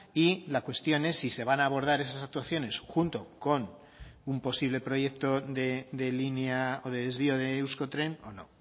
y la cuestión es si se van a abordar esas actuaciones junto con un posible proyecto de línea o de desvío de euskotren o no